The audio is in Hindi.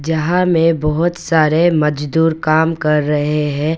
यहां में बहुत सारे मजदूर काम कर रहे हैं।